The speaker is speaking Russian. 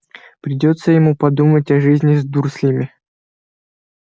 придётся ему подумать о жизни с дурслями